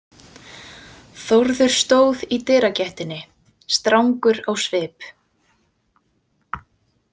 Þórður stóð í dyragættinni, strangur á svip.